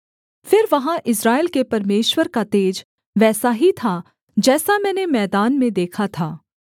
फिर वहाँ इस्राएल के परमेश्वर का तेज वैसा ही था जैसा मैंने मैदान में देखा था